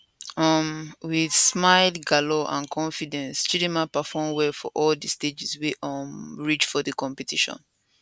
um wit smile glamour and confidence chidimma perform well for all di stages wey um reach for di competition